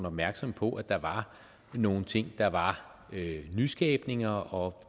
opmærksomme på at der var nogle ting der var nyskabelser og